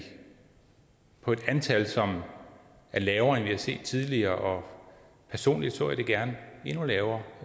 på et antal som er lavere vi har set tidligere og personligt så jeg det gerne endnu lavere